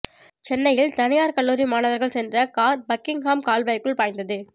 சென்னையில் தனியார் கல்லூரி மாணவர்கள் சென்ற கார் பக்கிங்ஹாம் கால்வாய்க்குள் பாய்ந்தது